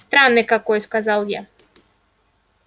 странный какой сказал я